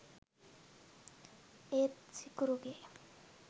ඒත් සිකුරුගේ